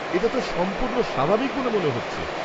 এটা তো সম্পূর্ণ স্বাভাবিক বলে মনে হচ্ছে।